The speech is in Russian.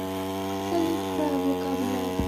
салют пра вокабуляр